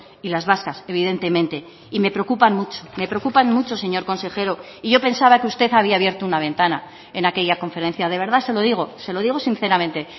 y las vascas evidentemente y me preocupan mucho me preocupan mucho señor consejero y yo pensaba que usted había abierto una ventana en aquella conferencia de verdad se lo digo se lo digo sinceramente